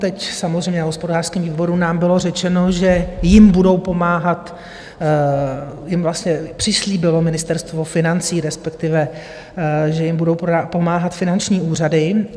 Teď samozřejmě na hospodářském výboru nám bylo řečeno, že jim budou pomáhat, jim vlastně přislíbilo Ministerstvo financí, respektive že jim budou pomáhat finanční úřady.